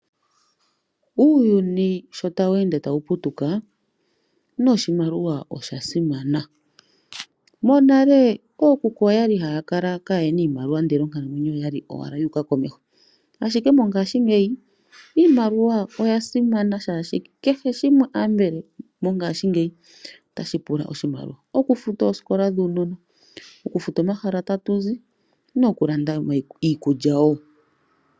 Uuyuni sho tawu ende tawu putuka noshimaliwa osha simana. Monale ookuku oyali haya kala kayena iimaliwa ndele onkalamwenyo oyali owala yuuka komeho. Ashike mongashingeyi iimaliwa oya simana shaashi kehe shimwe ambala mongashingeyi otashi pula oshimaliwa. Okufuta ooskola dhuunona, okufuta omahala tatu zi noku landa mo iikulya woo.